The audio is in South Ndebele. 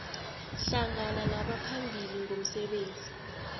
hlangana nabaphambili ngomsebenzi